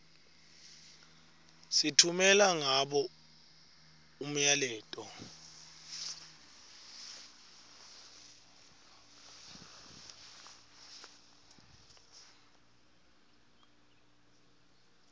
sitfumela ngabo umyaleto